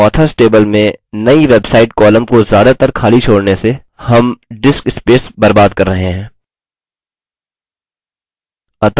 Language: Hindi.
और authors table में नई website column को ज्यादातर खाली छोड़ने से हम disk space बर्बाद कर रहे हैं